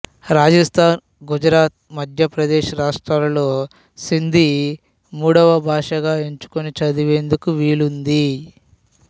రాజస్థాన్ గుజరాత్ మధ్యప్రదేశ్ రాష్ట్రాల్లో సింధీ మూడవ భాషగా ఎంచుకుని చదివేందుకు వీలుంది